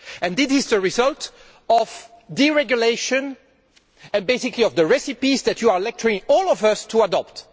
This is the result of deregulation and basically of the recipes that you are lecturing all of us to adopt.